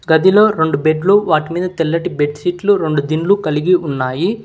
గదిలో రొండు బెడ్లు వాటి మీద తెల్లటి బెడ్ సీట్లు రెండు రొండు కలిగి ఉన్నాయి.